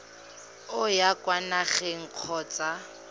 o ya kwa nageng kgotsa